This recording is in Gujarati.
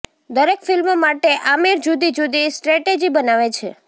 દરેક ફિલ્મ માટે આમિર જુદી જુદી સ્ટ્રેટજી બનાવે છે